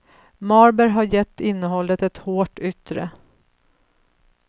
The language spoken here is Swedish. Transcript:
Marber har gett innehållet ett hårt yttre.